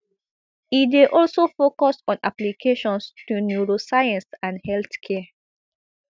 e dey also focus on applications to neuroscience and healthcare